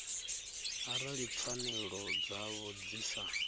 arali pfanelo dzavho dzi sa